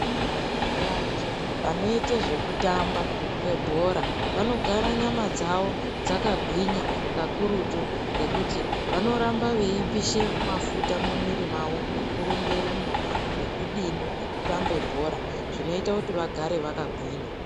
Vantu vanoite zvekutamba kwebhora vanogara nyama dzavo dzakagwinya kakurutu, ngekuti vanoramba veipishe mafuta mumwiri mavo, ngekurumbe rumba nekudini nekutambe bhora, zvinoite kuti vagare vakagwinya.